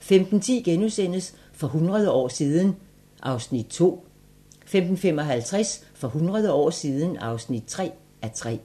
15:10: For hundrede år siden (2:3)* 15:55: For hundrede år siden (3:3)